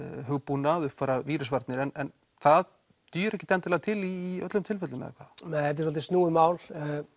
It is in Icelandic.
hugbúnað uppfæra vírusvarnir en það dugir ekki endilega til í öllum tilfellum eða hvað nei þetta er svolítið snúið mál